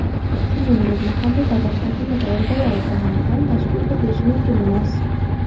shuningdek mahalliy davlat hokimiyati organlari tomonidan tashkil etilishi mumkin emas.